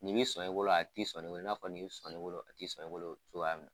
Nin b'i sɔn e bolo a ti sɔn ne bolo, i n'a fɔ nin b'i sɔn ne bolo a tɛ sɔn e bolo cogo y'a mina.